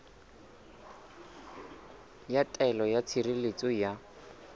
ya taelo ya tshireletso ya